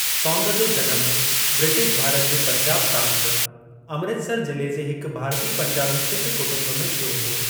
सौंद जो जनमु ब्रिटिश भारत जे पंजाब प्रांत, अमृतसर जिले जे हिक भारतीय पंजाबी सिख कुटुंब में थियो हो।